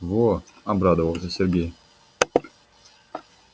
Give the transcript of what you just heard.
вот обрадовался сергей